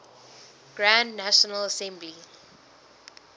grand national assembly